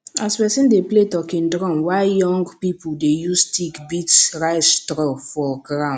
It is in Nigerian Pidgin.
as person dey play talking drum while young people dey use stick beat rice straw for ground